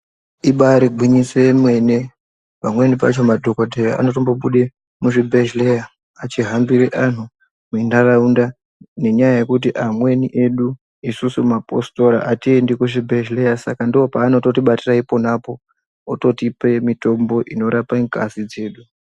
Ibari gwinyiso yemene pamweni pacho madhogodheya anotombo bude muzvibhedhleya achihambire antu muntaraunda. Nenyaya yekuti amweni edu isusu mapositora hatiendi kuzvibhedhlera saka ndopaanototibatira iponapo ototipe mitombo inorape ngazi dzedu.